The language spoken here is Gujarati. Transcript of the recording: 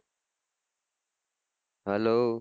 hello